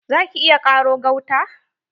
Za ki iya ƙaro gauta?